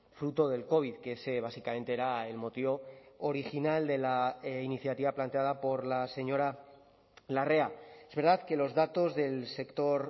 fruto del covid que ese básicamente era el motivo original de la iniciativa planteada por la señora larrea es verdad que los datos del sector